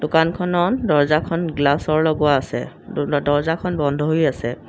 দোকানখনত দৰ্জ্জাখন গ্লাচৰ লগোৱা আছে দ দৰ্জ্জাখন বন্ধ হৈ আছে।